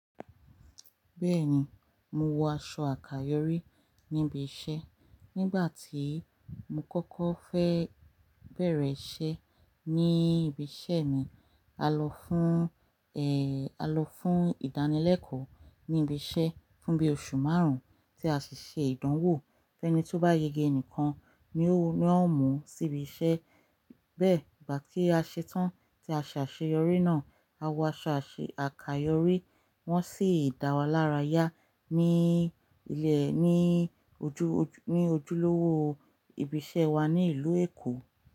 Bẹ́ẹ̀ni, mo wọ aṣọ àkayòrí níbi iṣẹ́. Nígbà tí mo kọ́kọ́ fẹ́ bẹ̀rẹ̀ iṣẹ́ ní ibi iṣẹ́ mi, a lọ fún, ẹ, a lọ fún ìdánilẹ́kọ̀ọ́ ní ibi iṣẹ́ fún bí oṣù márùn-ún tí a sì ṣe ìdánwò. Ẹni tó bá yege nìkan ni ó, n won ó mú síbi iṣẹ́. Bẹ́ẹ̀, ìgbà tí a ṣe tán tí a ṣe àṣeyọrí náà, a wọ aṣọ àṣe, àkayòrí. Wọ́n sì dá wa lára yá ní ilẹ̀, ní ojú, ojú, ní ojúlówó ibi iṣẹ́ wa ní ìlú Èkó.